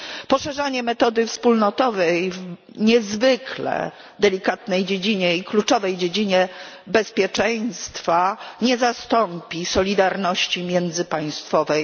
Poszerzanie metody wspólnotowej w niezwykle delikatnej i kluczowej dziedzinie bezpieczeństwa nie zastąpi solidarności międzypaństwowej.